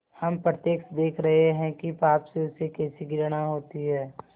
हम प्रत्यक्ष देख रहे हैं कि पाप से उसे कैसी घृणा होती है